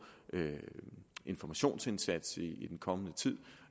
informationsindsats i den kommende tid